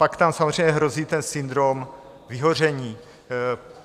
Pak tam samozřejmě hrozí ten syndrom vyhoření.